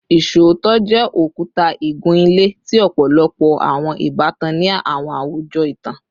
Iṣootọ jẹ okuta igun-ile ti ọpọlọpọ awọn ibatan ni awọn awujọ itan